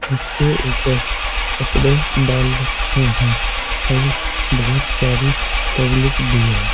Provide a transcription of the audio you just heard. इसके ऊपर कपड़े डाल रखे हैं अऊर बहुत सारी पब्लिक भी है।